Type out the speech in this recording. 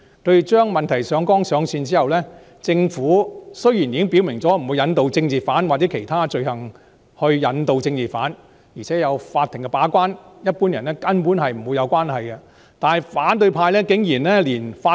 他們把問題上綱上線之後，雖然政府已經表明不會引渡政治犯，或以其他罪行引渡政治犯，而且有法庭把關，一般人根本不會無端被牽涉，但反對派竟然抹黑法庭。